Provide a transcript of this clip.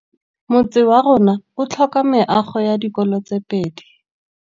Motse warona o tlhoka meago ya dikolô tse pedi.